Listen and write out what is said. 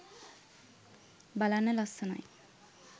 බලන්න ලස්සනයි